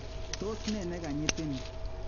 Tos nee nekanyitin?